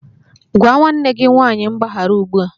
Gwa nwanne gị nwanyị mgbaghara ugbu a!